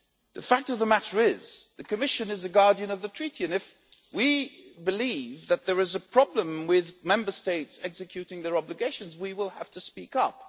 The fact of the matter is that the Commission is the guardian of the Treaties, and if we believe that there is a problem with Member States executing their obligations, we have to speak up.